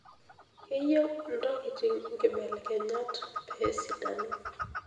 Keyieu ntokitin nkibelekenyat pee esidanu.